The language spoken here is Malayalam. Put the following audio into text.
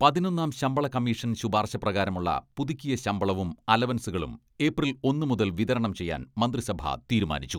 പതിനൊന്നാം ശമ്പള കമ്മീഷൻ ശുപാർശ പ്രകാരമുള്ള പുതുക്കിയ ശമ്പളവും അലവൻസുകളും ഏപ്രിൽ ഒന്ന് മുതൽ വിതരണം ചെയ്യാൻ മന്ത്രിസഭ തീരുമാനിച്ചു.